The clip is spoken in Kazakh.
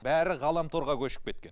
бәрі ғаламторға көшіп кеткен